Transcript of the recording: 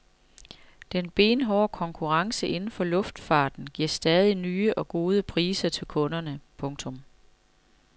Den benhårde konkurrence inden for luftfarten giver stadig nye og gode priser til kunderne. punktum